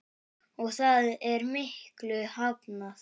Og það er miklu hafnað.